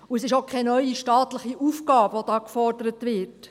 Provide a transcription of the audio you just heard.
Es ist auch keine neue staatliche Aufgabe, welche hier gefordert wird.